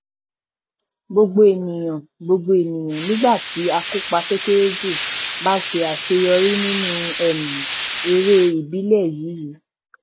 gbogbo ènìyàn gbogbo ènìyàn nígbà tí akópa tó kéré jù bá ṣe àṣeyọrí nínú um eré ìbílẹ yíyí